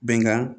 Bɛnkan